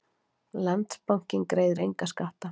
Landsbankinn greiðir enga skatta